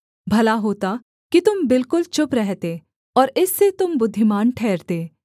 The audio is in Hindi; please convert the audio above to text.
भला होता कि तुम बिल्कुल चुप रहते और इससे तुम बुद्धिमान ठहरते